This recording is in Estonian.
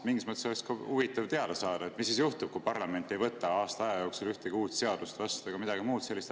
Mingis mõttes oleks huvitav teada saada, mis siis juhtub, kui parlament ei võta aasta jooksul vastu ühtegi uut seadust ega midagi muud sellist.